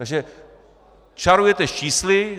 Takže čarujete s čísly.